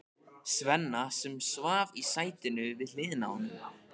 Svenna, sem svaf í sætinu við hliðina á honum.